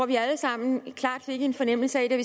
vi alle sammen klart fik en fornemmelse